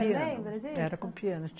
Você lembra disso? Era com piano.